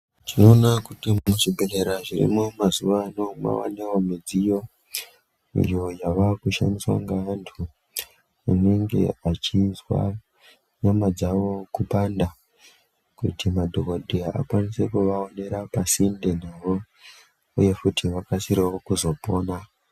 Tinoona kuti muzvibhehlera zviriyo mazuwano mwanewo midziyo iyo yavakushandiswa ngavanthu vanenge vachinzwa nyama dzavo kupanda, kuti madhokoteya akwanise kuvaonera pasinde navo uye kuti vakasirewo kuzopona.